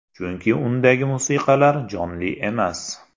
Chunki undagi musiqalar jonli emas.